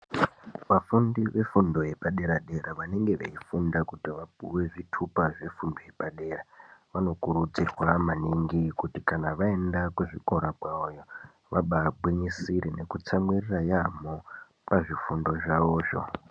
Vafundi vefundo yepaderadera vanenge veifunda kuti vapuwe zvitupa zvefundo yepadera vanokurudzirwa maningi kuti kana vaenda kuzvikora kwavoyo vabaagwinyisire nekutsamwirira yaamho pazvifundo zvavozvo.